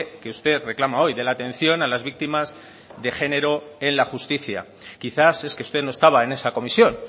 que usted reclama hoy de la atención a las víctimas de género en la justicia quizás es que usted no estaba en esa comisión